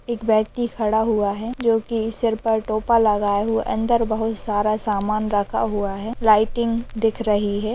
एक व्यक्ति खड़ा हुआ हैं जो कि सिर पर टोपा लगाए हुए अंदर बोहोत सारा सामन रखा हुआ हैं लाइटिंग दिख रही हैं।